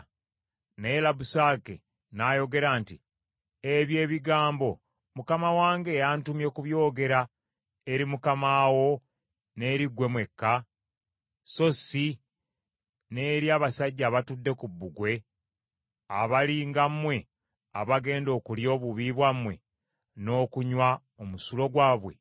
Naye Labusake n’ayogera nti, “Ebyo ebigambo Mukama wange yantumye kubyogera eri mukama wo n’eri ggwe mwekka, so si n’eri abasajja abatudde ku bbugwe abali nga mmwe abagenda okulya obubi bwabwe n’okunywa omusulo gwabwe?”